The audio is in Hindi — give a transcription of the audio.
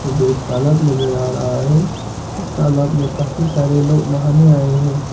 मुझे एक तालाब नजर आ रहा है इस तालाब में काफी सारे लोग नहाने आए हैं।